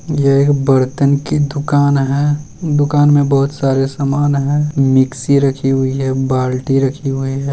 ये एक बर्तन की दुकान है दुकान में बहुत सारे समान हैं मिक्सी रखी हुई है बाल्टी रखी हुई है।